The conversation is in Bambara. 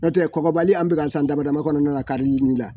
N'o tɛ kɔgɔbali an bɛ k'a san damadama kɔnɔna na karili la